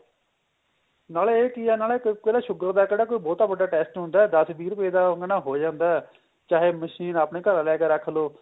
ਨਾਲੇ ਇਹ ਕੀ ਏ ਨਾਲੇ ਕਹਿੰਦੇ sugar ਦਾ ਜਿਹੜਾ ਕੋਈ ਬਹੁਤਾ ਵੱਡਾ test ਹੁੰਦਾ ਦੱਸ ਵਿੱਚ ਰੁਪਏ ਦਾ ਉਹ ਨਾ ਹੋ ਜਾਂਦਾ ਚਾਹੇ machine ਆਪਣੇ ਘਰ ਲਿਆ ਕੇ ਰੱਖ ਲਓ